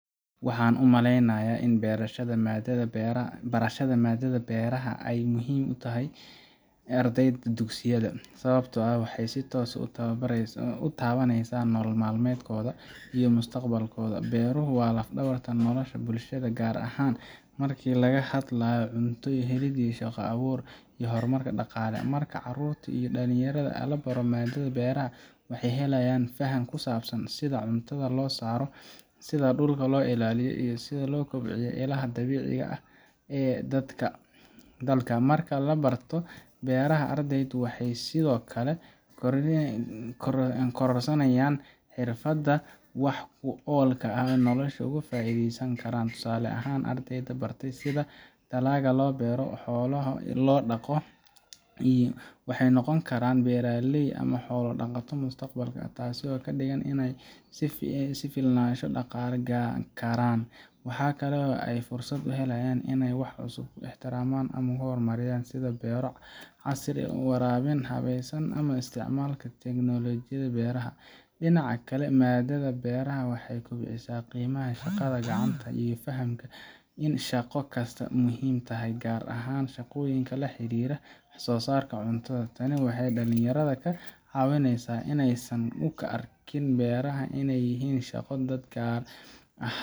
Waxaan u maleynayaa in barashada maaddada beeraha ay aad muhiim ugu tahay ardayda dugsiyada, sababtoo ah waxay si toos ah u taabaneysaa nolol maalmeedkooda iyo mustaqbalkooda. Beeruhu waa laf-dhabarta nolosha bulshada, gaar ahaan marka laga hadlayo cunto helid, shaqo abuur, iyo horumar dhaqaale. Marka carruurta iyo dhalinyarada la baro maaddada beeraha, waxay helayaan faham ku saabsan sida cuntada loo soo saaro, sida dhulka loo ilaaliyo, iyo sida loo kobciyo ilaha dabiiciga ah ee dalka. Marka la barto beeraha, ardaydu waxay sidoo kale kororsanayaan xirfado wax ku ool ah oo ay noloshooda uga faa’iideysan karaan. Tusaale ahaan, ardayda baratay sida dalagga loo beero ama xoolaha loo dhaqo, waxay noqon karaan beeraley ama xoolo dhaqato mustaqbalka ah, taasoo ka dhigan inay isku filnaansho dhaqaale gaari karaan. Waxa kale oo ay fursad u helayaan inay wax cusub ikhtiraacaan ama horumariyaan, sida beero casri ah, waraabin habaysan, ama isticmaalka tignoolajiyada beeraha. Dhinaca kale, maaddada beeraha waxay kobcisaa qiimaha shaqada gacanta iyo fahamka in shaqo kasta muhiim tahay, gaar ahaan shaqooyinka la xiriira wax soo saarka cuntada. Tani waxay dhalinyarada ka caawineysaa inaysan u arkin beeraha inay yihiin shaqo dadka